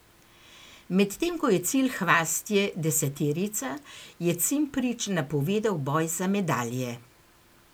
Medtem ko je cilj Hvastije deseterica, je Cimprič napovedal boj za medalje.